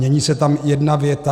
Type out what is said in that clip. Mění se tam jedna věta.